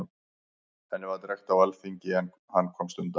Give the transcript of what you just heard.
Henni var drekkt á alþingi, en hann komst undan.